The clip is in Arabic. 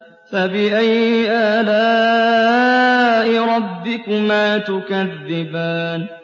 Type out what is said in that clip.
فَبِأَيِّ آلَاءِ رَبِّكُمَا تُكَذِّبَانِ